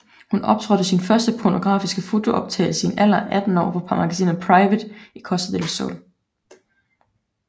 Hun optrådte i sin første pornografiske fotooptagelse i en alder af 18 år for magasinet Private i Costa del Sol